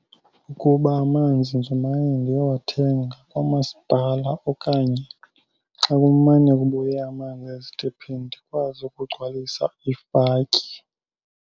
Kukuba amanzi ndimane ndiyowathenga kwamasipala okanye xa kumane kubuya amanzi ezitephini ndikwazi ukugcwalisa ifatyi.